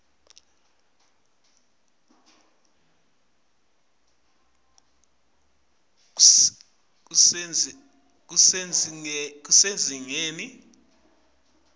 lokucuketfwe kuvakala kusezingeni